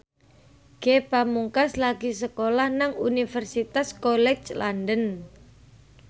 Ge Pamungkas lagi sekolah nang Universitas College London